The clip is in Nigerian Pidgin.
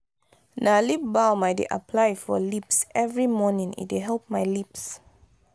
na lip balm i dey apply for lips every morning e dey help my lips.